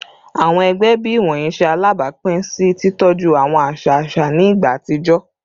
Awọn ẹgbẹ bii iwọnyi ṣe alabapin si titọju awọn aṣa aṣa ni igba atijọ